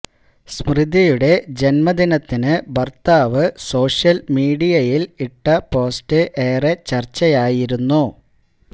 സ്മൃതിയുടെ ജന്മദിനത്തിന് ഭര്ത്താവ് സോഷ്യല് മീഡിയയില് ഇട്ട പോസ്റ്റ് ഏറെ ചര്ച്ചയായിരുന്നു